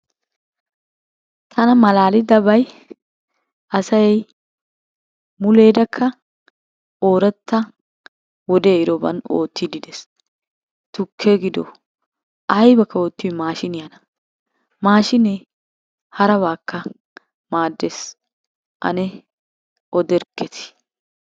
Tana malaalidabay asay muleerakka ooratta wode ehidoban oottiiddi de'es. Tukke gido ayibakka gido oottiyoy maashiiniyana. Maashiinee harabaakka maaddes. Ane oderkketi?